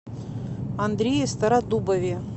андрее стародубове